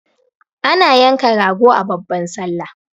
Ana yanka rago a babban sallah